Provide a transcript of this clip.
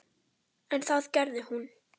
En það gerði hún.